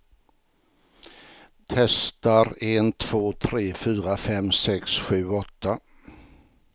Testar en två tre fyra fem sex sju åtta.